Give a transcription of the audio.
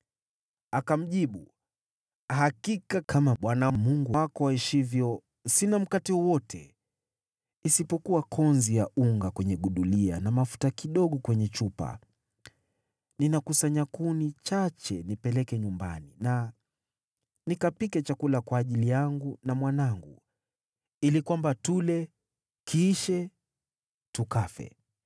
Akamjibu, “Hakika kama Bwana Mungu wako aishivyo, sina mkate wowote, isipokuwa konzi ya unga kwenye gudulia na mafuta kidogo kwenye chupa. Ninakusanya kuni chache nipeleke nyumbani na nikapike chakula kwa ajili yangu na mwanangu, ili kwamba tule, kiishe, tukafe.”